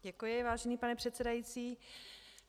Děkuji, vážený pane předsedající.